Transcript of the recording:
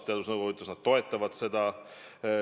Teadusnõukogu ütles, et nad toetavad seda.